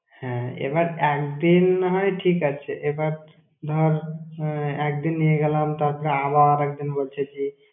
হ্যাঁ, এবার একদিন নাহয় ঠিক আছে। এবার ধর, একদিন নিয়ে গেলাম তারপর, আবার একদিন বলছে যে।